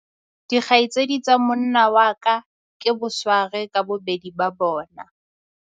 Dikgaitsedi tsa monna wa ka ke bosware ka bobedi ba bona.